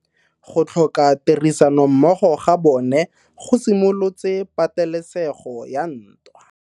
Go tlhoka tirsanommogo ga bone go simolotse patelesego ya ntwa.